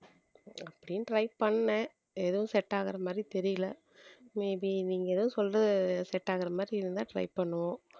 அப்படின்னு try பண்ணேன் எதுவும் set ஆகுற மாதிரி தெரியலே may be நீங்க ஏதோ சொல்றது set ஆகுற மாதிரி இருந்தா try பண்ணுவோம்